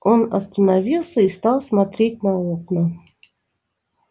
он остановился и стал смотреть на окна